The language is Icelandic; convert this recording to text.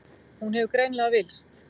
Hún hefur greinilega villst.